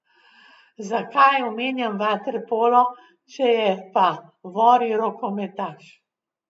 Zakaj omenjam vaterpolo, če je pa Vori rokometaš?